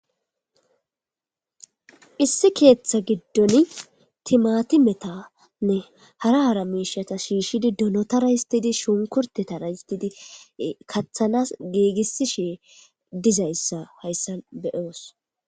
Issi keeththa giddon timatimetanne hara hara miishata shiishshidi donotara histidi shunkurtetara histidi kaththanas geegisishe dizayssa hayssan be7oos.